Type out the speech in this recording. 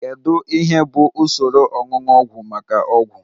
Kedu ihe bụ usoro oñuñu ọgwụ maka ọgwụ?